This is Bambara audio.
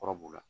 Kɔrɔ b'u la